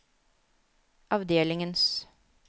avdelingens